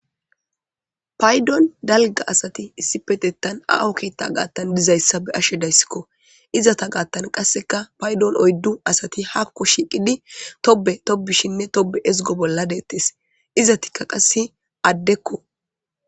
Paydon dalga asati issi petettan a'oketa gaattan dizayssa be ashe dayssikko izata gaattan qasseka paydon oyddu asati hakko shiiqidi tobe tobishinne tobe ezgo bolla deettes izatikka qasse addekko.